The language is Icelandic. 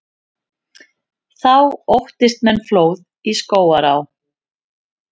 Þá óttist menn flóð í Skógaá.